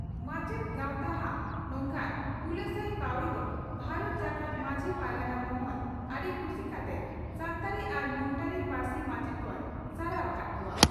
ᱢᱟᱪᱮᱛ ᱜᱟᱶᱛᱟ ᱦᱟᱜ ᱱᱚᱝᱠᱟᱱ ᱦᱩᱞᱟᱹᱥᱟᱹᱭ ᱯᱟᱹᱣᱲᱤ ᱫᱚ ᱵᱷᱟᱨᱚᱛ ᱡᱟᱠᱟᱛ ᱢᱟᱹᱡᱷᱤ ᱯᱟᱨᱜᱟᱱᱟ ᱢᱚᱦᱚᱞ ᱟᱹᱰᱤ ᱠᱩᱥᱤ ᱠᱟᱛᱮ ᱥᱟᱱᱛᱟᱲᱤ ᱟᱨ ᱢᱩᱱᱰᱟᱹᱨᱤ ᱯᱟᱹᱨᱥᱤ ᱢᱟᱪᱮᱛ ᱠᱚᱭ ᱥᱟᱨᱦᱟᱣ ᱟᱠᱟᱫ ᱠᱚᱣᱟ ᱾